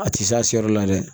A ti s'a si yɔrɔ la dɛ